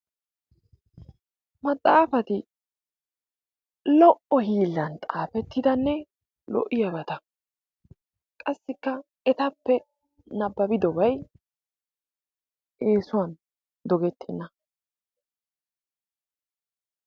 Maxxaafati lo"o hiillan xaafettidanne lo'iyabata. Qassikka etappe nabbabidobay eesuwan dogettenna.